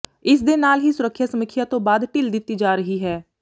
ਇਸ ਦੇ ਨਾਲ ਹੀ ਸੁਰੱਖਿਆ ਸਮੀਖਿਆ ਤੋਂ ਬਾਅਦ ਢਿੱਲ ਦਿੱਤੀ ਜਾ ਰਹੀ ਹੈ